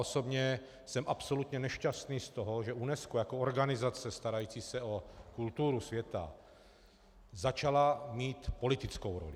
Osobně jsem absolutně nešťastný z toho, že UNESCO jako organizace starající se o kulturu svět začalo mít politickou roli.